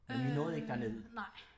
Men I nåede ikke derned?